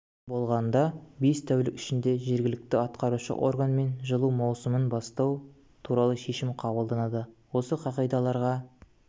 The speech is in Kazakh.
болғанда бес тәулік ішінде жергілікті атқарушы органмен жылу маусымын бастау туралы шешім қабылданады осы қағидаларға